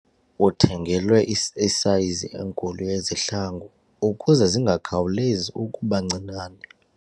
Uthengelwe isayizi enkulu yezihlangu ukuze zingakhawulezi ukuba ncinane.